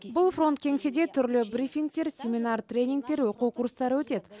бұл фронт кеңседе түрлі брифингтер семинар тренингтер оқу курстары өтеді